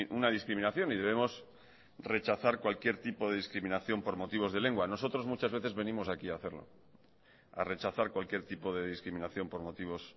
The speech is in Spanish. una discriminación y debemos rechazar cualquier tipo de discriminación por motivos de lengua nosotros muchas veces venimos aquí a hacerlo a rechazar cualquier tipo de discriminación por motivos